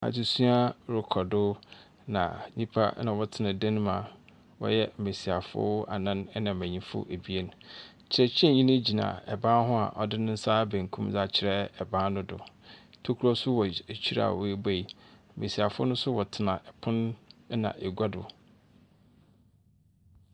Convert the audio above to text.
Adzesua rokɔ do, na nyimpa na wɔtsena dan mu a wɔyɛ mbesiafo anan na mbenyinfo abien. Kyerɛkyerɛnyi no gyina ban ho a ɔdze ne nsa benkum dze akyerɛ ban no do. Tokuro nso wɔ eky ekyire a woebuei. Mbesiafo no nso wɔtsena pon na egua do.